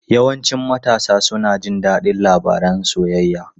Yawancin matasa suna jin daɗin labarun soyayya.